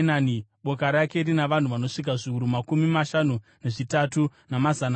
Boka rake rina vanhu vanosvika zviuru makumi mashanu nezvitatu, namazana mana.